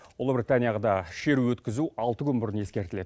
ұлыбританияда шеру өткізу алты күн бұрын ескертіледі